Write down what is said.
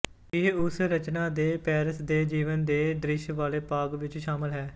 ਇਹ ਉਸ ਰਚਨਾ ਦੇ ਪੈਰਿਸ ਦੇ ਜੀਵਨ ਦੇ ਦ੍ਰਿਸ਼ ਵਾਲੇ ਭਾਗ ਵਿੱਚ ਸ਼ਾਮਲ ਹੈ